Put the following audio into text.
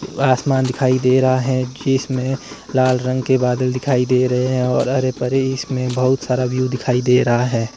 आसमान दिखाई दे रहा है जिसमें लाल रंग के बादल दिखाई दे रहे हैं और हरे भरे इसमें बहुत सारा व्यू दिखाई दे रहा है।